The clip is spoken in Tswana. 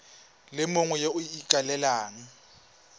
le mongwe yo o ikaelelang